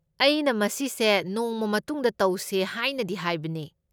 ꯑꯩꯅ ꯃꯁꯤꯁꯦ ꯅꯣꯡꯃ ꯃꯇꯨꯡꯗ ꯇꯧꯁꯦ ꯍꯥꯏꯅꯗꯤ ꯍꯥꯏꯕꯅꯦ꯫